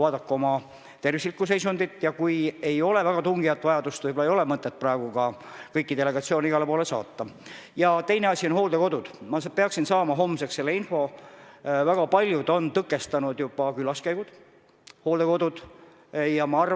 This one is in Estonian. Mõnikord on nii, et kriisikava on küll väga hea paberil, aga palju tähtsam ja nagu me kõik teame, eluliselt tähtis on, kuidas ollakse reaalselt ja praktiliselt valmis kriisis toimuvaid protsesse juhtima ja olukordi heaks pöörama.